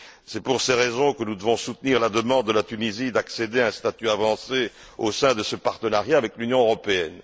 C'est pour ces raisons que nous devons soutenir la demande de la Tunisie d'accéder à un statut avancé au sein de ce partenariat avec l'Union européenne.